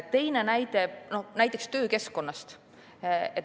Teine näide on töökeskkonnast.